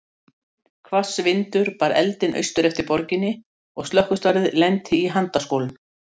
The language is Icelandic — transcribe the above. Hvass vindur bar eldinn austur eftir borginni, og slökkvistarfið lenti í handaskolum.